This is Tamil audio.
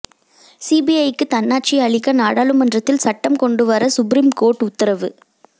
சிபிஐக்கு தன்னாட்சி அளிக்க நாடாளுமன்றத்தில் சட்டம் கொண்டு வர சுப்ரீம் கோர்ட் உத்தரவு